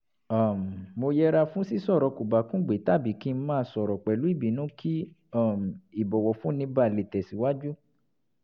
um mo yẹra fún sísọ̀rọ̀ kòbákùngbé tàbí kí n máa sọ̀rọ̀ pẹ̀lú ìbínú kí um ìbọ̀wọ̀fúnni báa lè tẹ̀síwájú